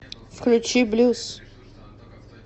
включи блюз